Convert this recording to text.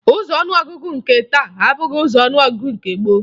Ụzọ ọnụọgụgụ nke taa abụghị ụzọ ọnụọgụgụ mgbe gboo